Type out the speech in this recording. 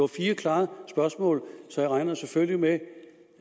fire klare spørgsmål så jeg regner selvfølgelig med